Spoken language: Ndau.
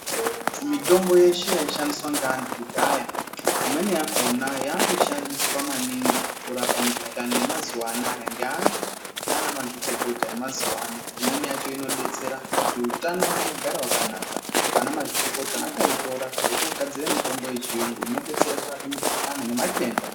Mitombo yeshe yaishandiswa ngaantu kudhaya, imweni yakona yakushandiswa maningi kurapa mikuhlane yemazuva anaya ngeantu nanamazvikokota emazuwa ano. Imweni yacho inodetsera kuti utano hwedu hugare hwakanaka. Anamazvikokota akaitora echogadzire mitombo yechiyungu inodetsera kurape mikuhlane nematenda.